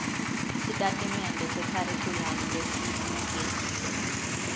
sitatimende sekharikhulamu lesibuketiwe